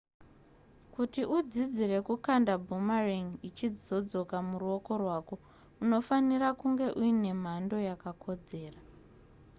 kuti udzidzire kukanda boomerang ichizodzoka muruoko rwako unofanira kunge uine mhando yakakodzera